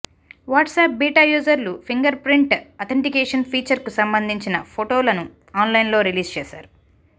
WhatsApp beta యూజర్లు fingerprint authentication ఫీచర్కు సంబంధించిన ఫోటోలను ఆన్లైన్లో రిలీజ్ చేశారు